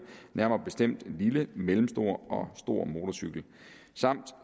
nærmere bestemt lille mellemstor og stor motorcykel samt